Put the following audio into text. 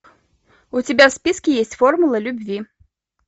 у тебя в списке есть формула любви